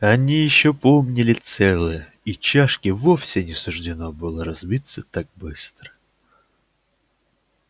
они ещё помнили целое и чашке вовсе не суждено было разбиться так быстро